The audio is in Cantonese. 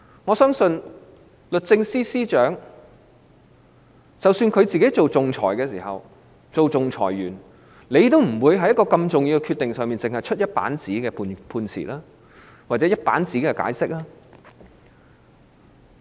我相信，律政司司長當仲裁員的時候，也不會就如此重要的決定，作出只有一頁紙的判詞或解釋。